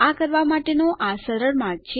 આ કરવા માટેનો આ સરળ માર્ગ છે